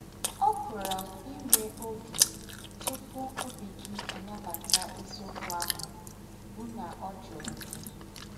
Ọ́ pụ̀rà íwẹ́ ọ́gẹ́ túpụ̀ ọ́bí gị̀ ànabàtà èzí̄ǒkwụ́ àhụ́ bụ́ nà ọ́ jụ̀rụ̀ gị̀.